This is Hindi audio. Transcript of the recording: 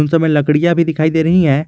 और सामने लकड़िया भी दिखाई दे रही हैं।